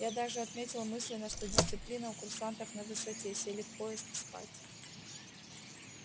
я даже отметил мысленно что дисциплина у курсантов на высоте сели в поезд и спать